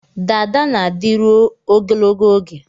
Dada na-adịru ogologo oge